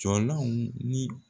Jɔlanw ni.